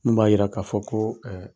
Mun b'a yira k'a fɔ ko